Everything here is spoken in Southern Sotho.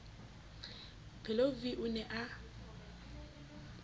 pheleu v o ne a